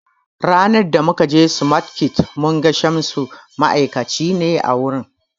Ranan da mu kaje smartkids mun ga Shamsu, ma'aikaci ne a wurin